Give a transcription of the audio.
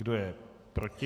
Kdo je proti?